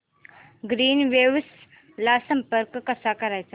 Greenwaves ला संपर्क कसा करायचा